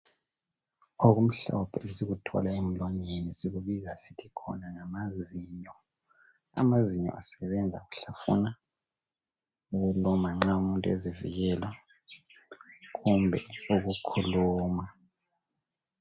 Okumhlophe esikuthola emlwangeni sikubiza sithi khona ngamazinyo , amazinyo asebenza ukuhlafuna , ukuluma nxa umuntu ezivikela kumbe ukukhuluma